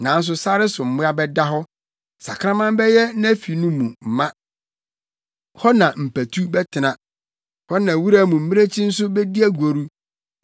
Nanso sare so mmoa bɛda hɔ. Sakraman bɛyɛ nʼafi no mu ma; hɔ na mpatu bɛtena, hɔ na wura mu mmirekyi nso bedi agoru.